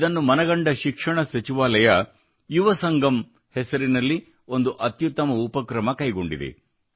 ಇದನ್ನು ಮನಗಂಡ ಶಿಕ್ಷಣ ಸಚಿವಾಲಯವು ಯುವ ಸಂಗಮ್ ಹೆಸರಿನಲ್ಲಿ ಒಂದು ಅತ್ಯುತ್ತಮ ಉಪಕ್ರಮ ಕೈಗೊಂಡಿದೆ